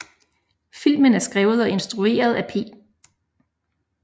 Filmen er skrevet og instrueret af P